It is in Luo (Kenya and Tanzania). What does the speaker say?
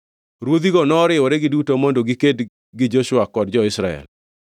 ruodhigo noriwore giduto mondo giked gi Joshua kod jo-Israel.